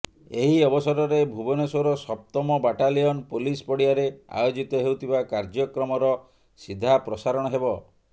ଏହି ଅବସରରେ ଭୁବନେଶ୍ୱର ସପ୍ତମ ବାଟାଲିୟନ ପୋଲିସ ପଡ଼ିଆରେ ଆୟୋଜିତ ହେଉଥିବା କାର୍ଯ୍ୟକ୍ରମର ସିଧାପ୍ରସାରଣ ହେବ